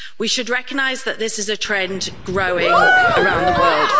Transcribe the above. We should recognise that this is a trend growing around the world.